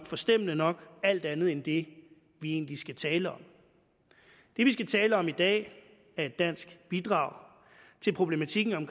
forstemmende nok alt andet end det vi egentlig skal tale om det vi skal tale om i dag er et dansk bidrag til problematikken om